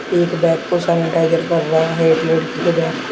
एक बैग को सेनेटाइजर कर रहा है एक लड़की के बैग को।